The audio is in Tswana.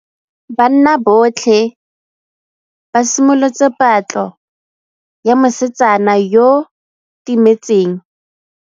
Banna botlhê ba simolotse patlô ya mosetsana yo o timetseng.